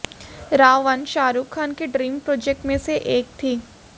रा वन शाहरूख खान की dream project में से एक थी